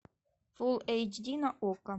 фул эйч ди на окко